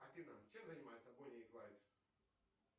афина чем занимаются бонни и клайд